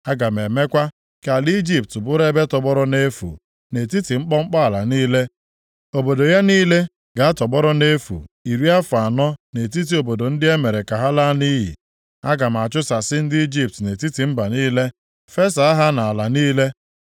Aga m emekwa ka ala Ijipt bụrụ ebe tọgbọrọ nʼefu nʼetiti mkpọmkpọ ala niile, obodo ya niile ga-atọgbọrọ nʼefu iri afọ anọ nʼetiti obodo ndị e mere ka ha laa nʼiyi. Aga m achụsasị ndị Ijipt nʼetiti mba niile, fesaa ha nʼala niile.